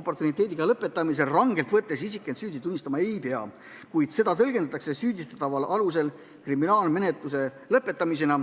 oportuniteediga lõpetamisel rangelt võttes isik end süüdi tunnistama ei pea, kuid seda tõlgendatakse süüdistataval alusel kriminaalmenetluse lõpetamisena.